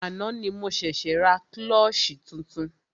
Àná ni mo ṣẹ̀ṣė ra klọ́ṣí tuntun.